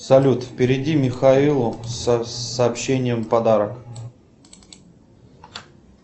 салют переведи михаилу с сообщением подарок